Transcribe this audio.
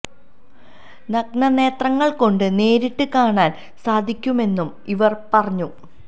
നഗ്ന നേത്രങ്ങള് കൊണ്ട് നേരിട്ട് കാണാന് സാധിക്കുമെന്നും ഇവര് പറഞ്ഞു